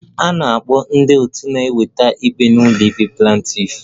A na-akpọ ndị otu na-eweta ikpe n'ụlọikpe Plantiff